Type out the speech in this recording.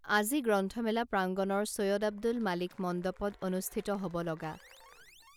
আজি গ্ৰন্থমেলা প্ৰাংগণৰ ছৈয়দ আব্দুল মালিক মণ্ডপত অনুষ্ঠিত হব লগা